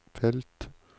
felt